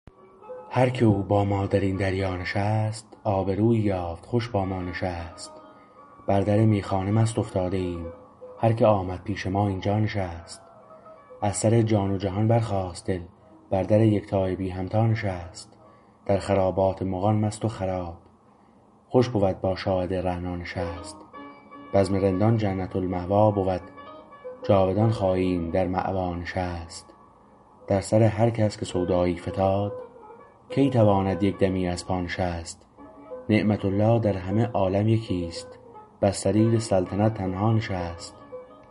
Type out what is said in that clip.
هرکه او با ما در این دریا نشست آبرویی یافت خوش با ما نشست بر در میخانه مست افتاده ایم هرکه آمد پیش ما اینجا نشست از سر جان و جهان برخاست دل بر در یکتای بی همتا نشست در خرابات مغان مست و خراب خوش بود با شاهد رعنا نشست بزم رندان جنت المأوی بود جاودان خواهیم در مأوا نشست در سر هر کس که سودایی فتاد کی تواند یک دمی از پا نشست نعمت الله در همه عالم یکی است بر سریر سلطنت تنها نشست